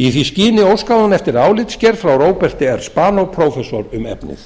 í því skyni óskaði hún eftir álitsgerð frá róberti s spanó prófessor um efnið